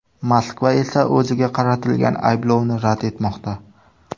Moskva esa o‘ziga qaratilgan ayblovni rad etmoqda.